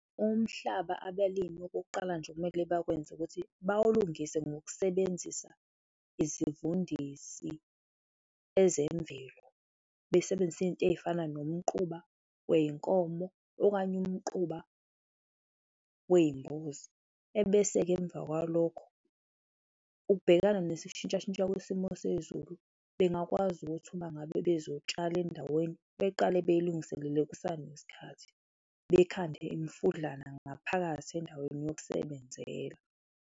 Umhlaba abelimi okokuqala nje ekumele bakwenze ukuthi bawulungise ngokusebenzisa izivundisi ezemvelo, besebenzisa izinto ezifana nomquba weyinkomo okanye umquba weyimbuzi. Ebese-ke emva kwalokho, ukubhekana nesishintsha shintsha kwesimo sezulu, bengakwazi ukuthi uma ngabe bezotshala endaweni, beqale beyilungiselele kusanesikhathi, bekhande imifudlana ngaphakathi endaweni yokusebenzela.